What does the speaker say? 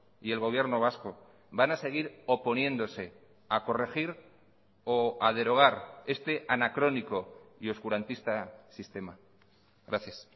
y el gobierno vasco van a seguir oponiéndose a corregir o a derogar este anacrónico y oscurantista sistema gracias